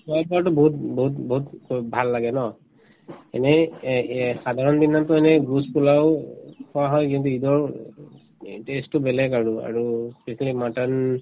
বহুত বহুত বহুত বহুত ভাল লাগে ন এনে এ এ সাধাৰণ দিনততো এনে juice পোলাও খোৱা হয় কিন্তু ঈদৰ এই test তো বেলেগ আৰু আৰু specially mutton